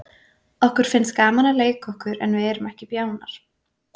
Okkur finnst gaman að leika okkur en við erum ekki bjánar.